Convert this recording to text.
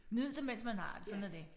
Nyd det mes man har det sådan er det